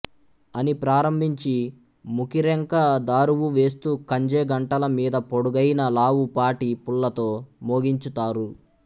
అని ప్రారంభించి ముకిరెంక దారువు వేస్తూ కంజే గంటల మీద పొడుగైన లావు పాటి పుల్లతో మోగించు తారు